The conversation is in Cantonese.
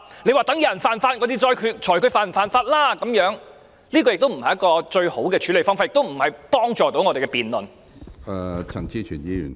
你說待有人犯法才裁決他是否犯法，這不是一種最好的處理方法，亦無助我們的辯論。